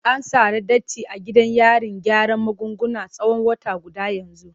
An tsare Datti a gidan yarin gyaran magunguna tsawon wata guda yanzu.